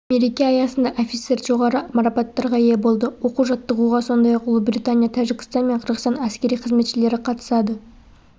мереке аясында офицер жоғары марапаттарға ие болды оқу-жаттығуға сондай-ақ ұлыбритания тәжікстан мен қырғызстан әскери қызметшілері қатысады